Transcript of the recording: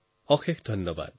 বহুত বহুত ধন্যবাদ